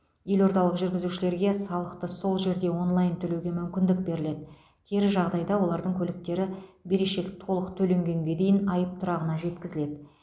елордалық жүргізушілерге салықты сол жерде онлайн төлеуге мүмкіндік беріледі кері жағдайда олардың көліктері берешек толық төленгенге дейін айып тұрағына жеткізіледі